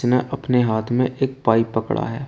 उसने अपने हाथ में एक पाइप पकड़ा है।